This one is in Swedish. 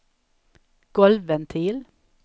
golvventil